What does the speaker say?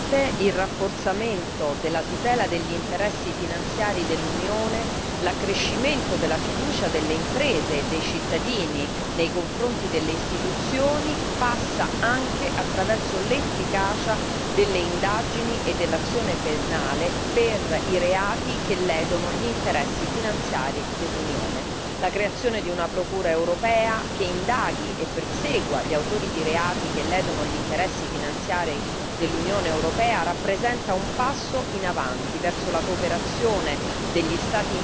Signor Presidente, onorevoli colleghi, sicuramente il rafforzamento della tutela degli interessi finanziari dell'Unione, l'accrescimento della fiducia delle imprese e dei cittadini nei confronti delle istituzioni, passa anche attraverso l'efficacia delle indagini e dell'azione penale per i reati che ledono gli interessi finanziari dell'Unione. La creazione di una procura europea che indaghi e persegua gli autori di reati che ledono gli interessi finanziari dell'Unione europea rappresenta un passo in avanti verso la cooperazione